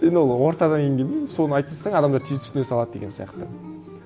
енді ол ортаға енгеннен соны айта салсаң адамдар тез түсіне салады деген сияқты